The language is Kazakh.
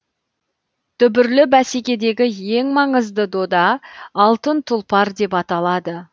дүбірлі бәсекедегі ең маңызды дода алтын тұлпар деп аталады